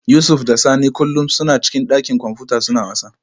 Yusuf da Sani kullum suna cikin dakin kwamfuta suna wasa